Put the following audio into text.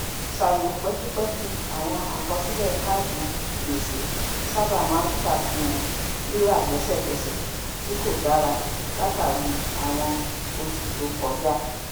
ṣàyẹwò pẹkipẹki àwọn àkọsílẹ káàdì gbèsè sábà maa ń ṣàfihàn rírà lẹsẹkẹsẹ tí kò dara látàrí àwọn oṣù tó kọjá